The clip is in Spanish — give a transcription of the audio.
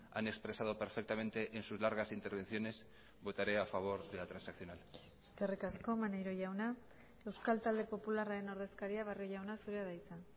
han expresado perfectamente en sus largas intervenciones votaré a favor de la transaccional eskerrik asko maneiro jauna euskal talde popularraren ordezkaria barrio jauna zurea da hitza